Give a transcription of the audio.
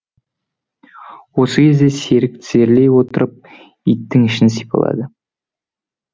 осы кезде серік тізерлей отырып иттің ішін сипады